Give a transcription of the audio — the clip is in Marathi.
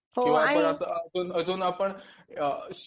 अजून आपण अ